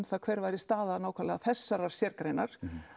það hver væri staða nákvæmlega þessarar sérgreinar